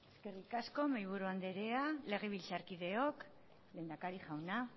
eskerrik asko mahaiburu andrea legebiltzarkideok lehendakari jauna